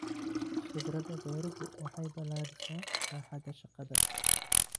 Khibrada beeruhu waxay balaadhisaa baaxadda shaqada.